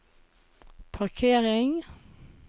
parkering